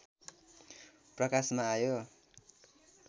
प्रकाशमा आयो